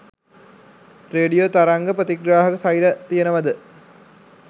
Radio තරංග ප්‍රතිග්‍රාහක සෛල තියෙනවද?